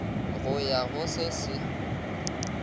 go ya go se se